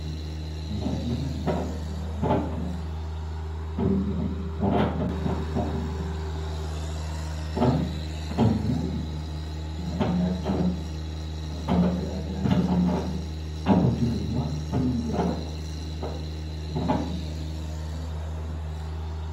Meeshaaleen manaa fi waajjiraalee yoo hin jiraanne jireenyi keenya ulfaataa ta'a. Isaan kan jiraatan nyaata nyaachuu wantoota garaagaraa barreessuuf malee jiraachuun ni ulfaata ture Galata meeshaalee kanaaf.